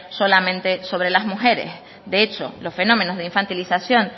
solamente sobre las mujeres de hecho los fenómenos de infantilización